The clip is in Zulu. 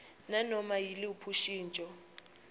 nganoma yiluphi ushintsho